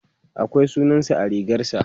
akwai sunansa a rigarsa